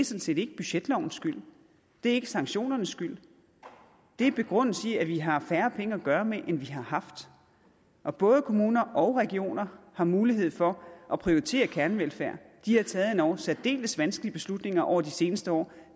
set ikke budgetlovens skyld det er ikke sanktionernes skyld det er begrundet i at vi har færre penge at gøre godt med end vi har haft og både kommuner og regioner har mulighed for at prioritere kernevelfærd de har taget nogle endog særdeles vanskelige beslutninger over de seneste år og